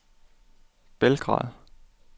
Belgrad